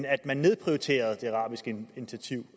at man nedprioriterede det arabiske initiativ